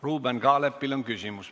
Ruuben Kaalepil on küsimus.